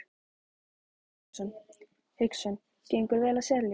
Hafsteinn Hauksson: Gengur vel að selja?